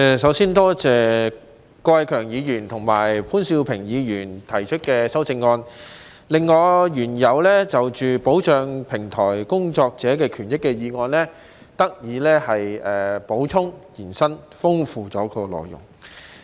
首先多謝郭偉强議員和潘兆平議員提出的修正案，令我原有的"保障平台工作者的權益"的議案得以補充和延伸，豐富了內容。